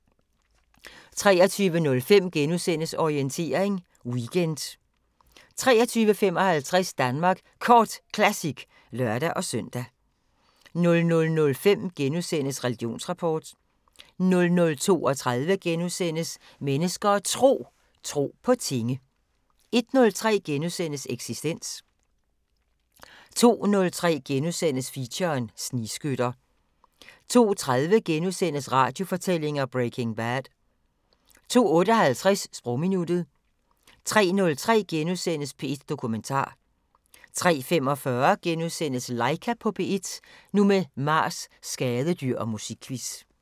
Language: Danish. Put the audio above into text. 23:05: Orientering Weekend * 23:55: Danmark Kort Classic (lør-søn) 00:05: Religionsrapport * 00:32: Mennesker og Tro: Tro på tinge * 01:03: Eksistens * 02:03: Feature: Snigskytter * 02:30: Radiofortællinger: Breaking Bad * 02:58: Sprogminuttet 03:03: P1 Dokumentar * 03:45: Laika på P1 – nu med Mars, skadedyr og musikquiz *